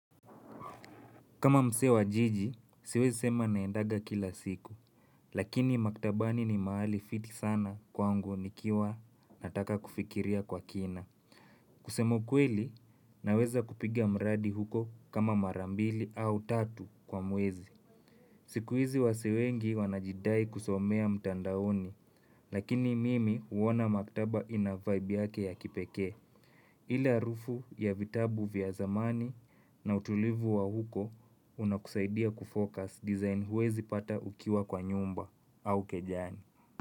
Kama msee wa jiji, siwezi sema naendaga kila siku. Lakini maktabani ni mahali fiti sana kwangu nikiwa nataka kufikiria kwa kina. Kusema ukweli, naweza kupiga mradi huko kama mara mbili au tatu kwa mwezi. Siku hizi wasee wengi wanajidai kusomea mtandaoni, lakini mimi huona maktaba ina vibe yake ya kipekee. Ile arufu ya vitabu vya zamani na utulivu wa huko unakusaidia kufocus design huwezi pata ukiwa kwa nyumba au kejani.